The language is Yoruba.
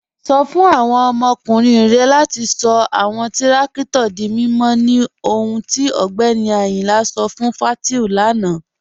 Sọ̀ fún awọn ọmọkùnrin rẹ̀ latí sọ̀ awọn tìrakítò dí mímọ̀ ní ọ̀hùn tí Ọgbẹ́ni Ayínla sọ̀ fún Fátíù lánà.